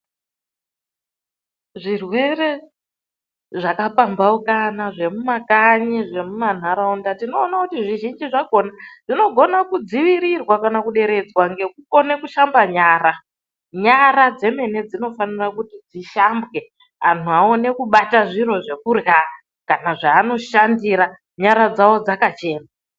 Zvirwere zvakapambaukana zvemumakanyi zvemumantaraunda tinoone kuti zvizhinji zvakona zvinokona kudziirirwa kana kuderedzwa ngeushamba nyara. Nyara dzemene dzinofanira kuti dzishambwe antu aone kubata zviro zvekurya kana zvaanoshandira nyara dzawo dzakachena.